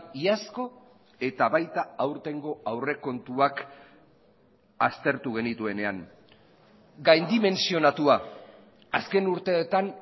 iazko eta baita aurtengo aurrekontuak aztertu genituenean gaindimentsionatua azken urteetan